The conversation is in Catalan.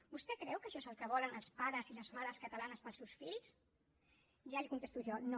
vostè creu que això és el que volen els pares i les mares catalanes per als seus fills ja li contesto jo no